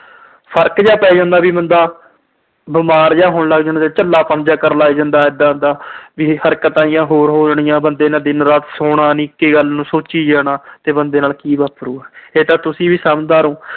ਫਰਕ ਜਾ ਪੈ ਜਾਂਦਾ ਵੀ ਬੰਦਾ, ਬੀਮਾਰ ਜਾ ਹੋਣ ਲੱਗ ਜਾਂਦਾ, ਝੱਲਾਪਣ ਜਾ ਕਰਨ ਲੱਗ ਜਾਂਦਾ ਏਦਾ ਏਦਾ। ਵੀ ਹਰਕਤਾਂ ਜਿਹੀਆਂ ਹੋਰ ਆ ਜਾਂਦੀਆਂ, ਬੰਦੇ ਨੇ ਦਿਨ-ਰਾਤ ਸੌਣਾ ਨੀ। ਇਕ ਗੱਲ ਨੂੰ ਸੋਚੀਂ ਜਾਣਾ ਕਿ ਬੰਦੇ ਨਾਲ ਕੀ ਵਾਪਰੂ। ਇਹ ਤਾਂ ਤੁਸੀਂ ਵੀ ਸਮਝਦਾਰ ਓ।